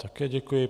Také děkuji.